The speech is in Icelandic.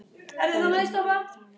Það séu mikil tímamót.